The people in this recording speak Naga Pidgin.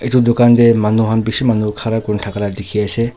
Etu dukhan dae manu khan bishi manu khara kurena thaka la dikhi ase.